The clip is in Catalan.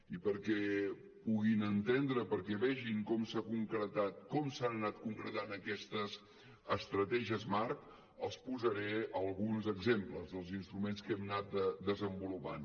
i perquè puguin entendre perquè vegin com s’ha concretat com s’han anat concretant aquestes estratègies marc els posaré alguns exemples dels instruments que hem anat desenvolupant